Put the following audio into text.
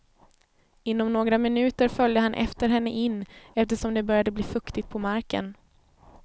Inom några minuter följde han efter henne in, eftersom det började bli fuktigt på marken.